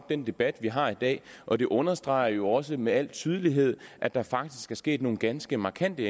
den debat vi har i dag og det understreger jo også med al tydelighed at der faktisk er sket nogle ganske markante